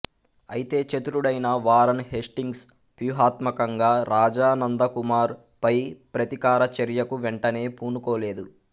అయితే చతురుడైన Warren Hastings వ్యూహాత్మకంగా రాజా నందకుమార్ పై ప్రతీకార చర్యకు వెంటనే పూనుకోలేదు